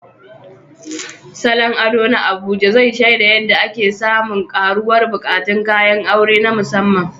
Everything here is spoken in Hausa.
Salon ado na Abuja zai shaida yadda ake samun ƙaruwar buƙatun kayan aure na musamman.